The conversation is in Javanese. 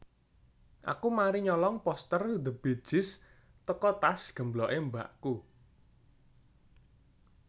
Aku mari nyolong poster The Bee Gees teko tas gemblok e mbakku